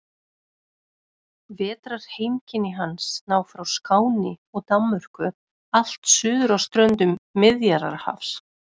Vetrarheimkynni hans ná frá Skáni og Danmörku allt suður að ströndum Miðjarðarhafs.